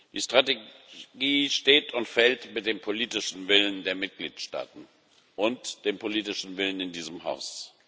Die Strategie steht und fällt mit dem politischen Willen der Mitgliedstaaten und dem politischen Willen in diesem Haus.